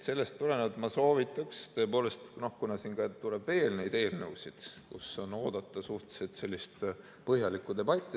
Sellest tulenevalt ma soovitaks tõepoolest, kuna siin tuleb veel neid eelnõusid, kus on oodata suhteliselt põhjalikku debatti.